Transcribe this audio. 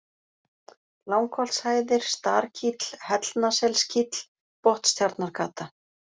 Langholtshæðir, Starkíll, Hellnaselskíll, Botnstjarnargata